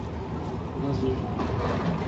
лазурит